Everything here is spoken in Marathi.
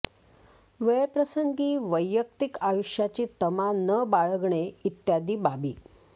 वेळप्रसंगी वैयक्तिक आयुष्याची तमा न बाळगणे इत्यादी बाबी